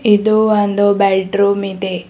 ಇದು ಒಂದು bedroom ಇದೆ.